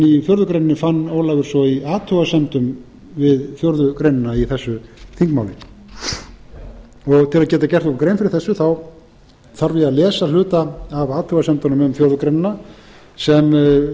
í fjórðu greininni fann ólafur svo í athugasemdum við fjórða greinina í þessu þingmáli til að geta gert okkur grein fyrir þessu þarf ég að lesa hluta af athugasemdunum um fjórða grein sem